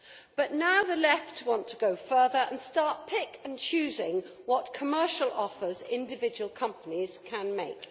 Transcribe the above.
But now the left wants to go further and to start picking and choosing what commercial offers individual companies can make.